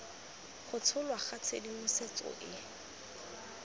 go tsholwa ga tshedimosetso e